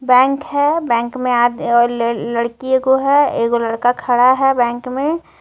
bank है bank में लड़की है एक लड़का खड़ा है बैंक में--